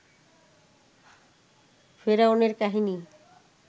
ফেরাউন এর কাহিনী